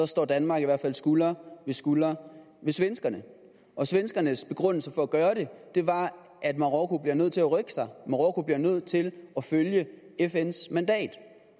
står danmark i hvert fald skulder ved skulder med svenskerne og svenskernes begrundelse for at gøre det var at marokko bliver nødt til at rykke sig at marokko bliver nødt til at følge fns mandat